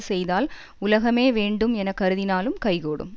செய்தால் உலகமே வேண்டும் என கருதினாலும் கைகூடும்